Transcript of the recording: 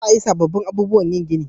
Za a yi sabobbin abubuwan yin gini